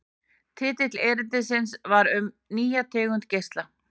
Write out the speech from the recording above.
Titill erindisins var Um nýja tegund geisla.